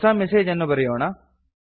ಹೊಸ ಮೆಸೇಜ್ ಅನ್ನು ಬರೆಯೋಣ